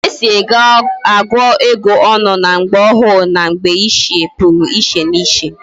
Etu esi agu ego onu na mgbe ohu na mgbe ochie Puru iche na iche